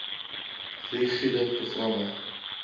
ri gude programme